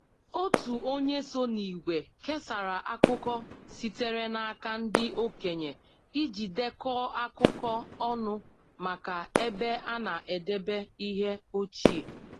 Otu onye so n’ìgwè kesara akụkọ sitere n’aka ndị okenye iji dekọọ akụkọ ọnụ maka ebe a na-edebe ihe ochie